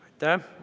Aitäh!